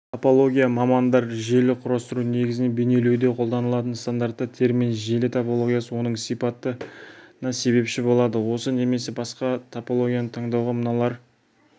топология мамандар желі құрастыру негізін бейнелеуде қолданатын стандартты термин желі топологиясы оның сипатына себепші болады осы немесе басқа топологияны таңдауға мыналар